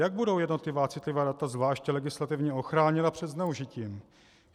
Jak budou jednotlivá citlivá data zvlášť legislativně ochráněna před zneužitím?